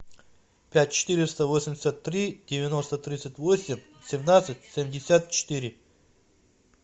пять четыреста восемьдесят три девяносто тридцать восемь семнадцать семьдесят четыре